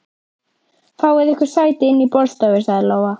Fáið ykkur sæti inni í borðstofu, sagði Lóa.